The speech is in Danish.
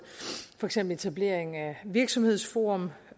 for eksempel etablering af virksomhedsforum